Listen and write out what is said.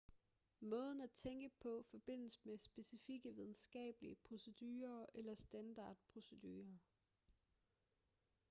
måden at tænke på forbindes med specifikke videnskabelige procedurer eller standardprocedurer